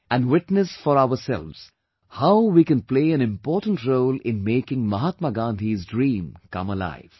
And witness for ourselves, how we can play an important role in making Mahatma Gandhi's dream come alive